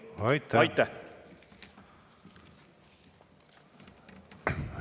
Aitäh!